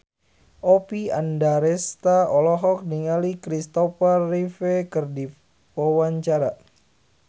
Oppie Andaresta olohok ningali Kristopher Reeve keur diwawancara